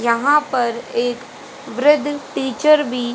यहां पर एक वृद्ध टीचर भी--